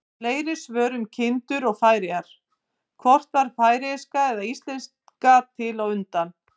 Fleiri svör um kindur og Færeyjar: Hvort varð færeyska eða íslenska til á undan?